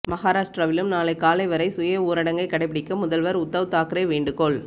மகாராஷ்டிராவிலும் நாளை காலை வரை சுய ஊரடங்கை கடைபிடிக்க முதல்வர் உத்தவ் தாக்கரே வேண்டுகோள்